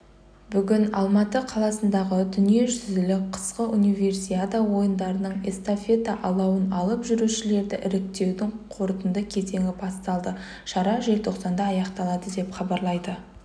бүгін алматы қаласындағы дүниежүзілік қысқы универсиада ойындарының эстафета алауын алып жүрушілерді іріктеудің қорытынды кезеңі басталды шара желтоқсанда аяқталады деп хабарлайды